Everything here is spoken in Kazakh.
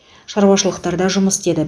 шаруашылықтарда жұмыс істеді